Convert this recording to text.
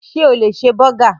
Sé o lè ṣe bọ́gà?